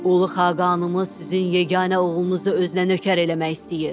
Ulu Xaqanımız sizin yeganə oğlunuzu özünə nökər eləmək istəyir.